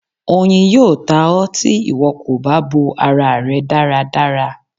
Oyin yóò tá ọ, tí ìwo kó bá bò ará rẹ dáradára.